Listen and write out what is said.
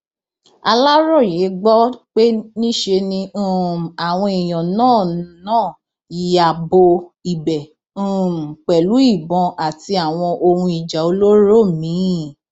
aláròye gbọ pé níṣe ni um àwọn èèyàn náà náà ya bo ibẹ um pẹlú ìbọn àti àwọn ohun ìjà olóró míín